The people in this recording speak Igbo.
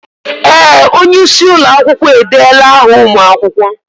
Ee! Onye isi ụlọ akwụkwọ edeela áhà ụmụ akwụkwọ.